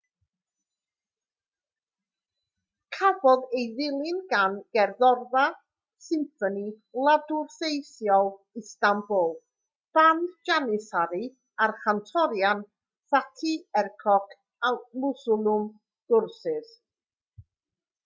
cafodd ei ddilyn gan gerddorfa symffoni wladwriaethol istanbul band janissary a'r cantorion fatih erkoc a müslüm gürses